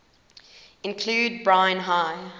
include brine high